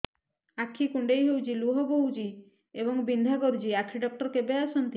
ଆଖି କୁଣ୍ଡେଇ ହେଉଛି ଲୁହ ବହୁଛି ଏବଂ ବିନ୍ଧା କରୁଛି ଆଖି ଡକ୍ଟର କେବେ ଆସନ୍ତି